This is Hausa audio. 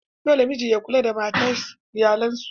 Dole miji ya kula da iyalan su.